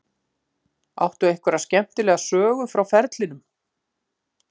Áttu einhverja skemmtilega sögu frá ferlinum?